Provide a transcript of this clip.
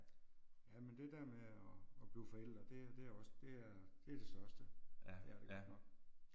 Jamen det der med og og blive forældre det det er også det er det er største. Det er det godt nok